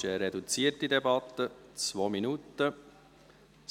Es ist eine reduzierte Debatte mit 2 Minuten Sprechzeit.